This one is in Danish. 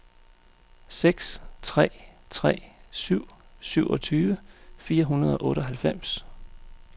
seks tre tre syv syvogtyve fire hundrede og otteoghalvfems